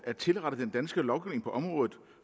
at tilrette den danske lovgivning på området